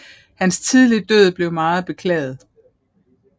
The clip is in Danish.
Hans tidlige død blev meget beklaget